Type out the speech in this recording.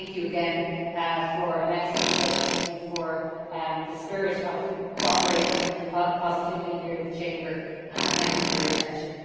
Thank you again for an excellent debate, thank you for the spirit of cooperation and positivity here in the Chamber, and thank you for your attention.